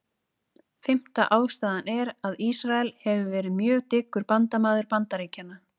Fimmta ástæðan er, að Ísrael hefur verið mjög dyggur bandamaður Bandaríkjanna.